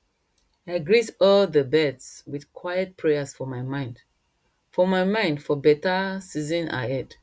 i greet all dey birds with quiet prayers for my mind for my mind for beta season ahead